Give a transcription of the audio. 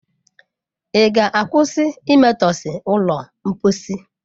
Ị ga-akwụsị imetọsị ụlọ mposi?